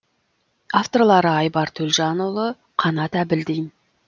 авторлары айбар төлжанұлы қанат әбілдин